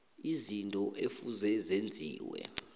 izinto ekufuze zenziwe